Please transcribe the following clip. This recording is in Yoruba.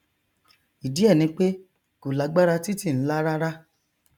ìdí ẹ ni pé kò lágbára títì nlá rárá